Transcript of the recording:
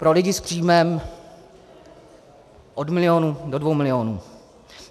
Pro lidi s příjmem od milionu do dvou milionů.